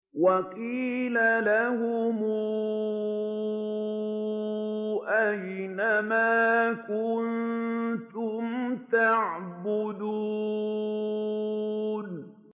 وَقِيلَ لَهُمْ أَيْنَ مَا كُنتُمْ تَعْبُدُونَ